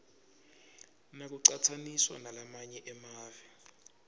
nakucatsaniswa nalamanye emave